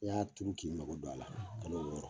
E y'a turu k'i mago don a la, kalo wɔɔrɔ